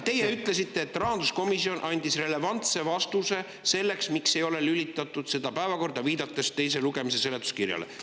Teie ütlesite, et rahanduskomisjon andis relevantse vastuse selle kohta, miks ei ole, viidates teise lugemise seletuskirjale.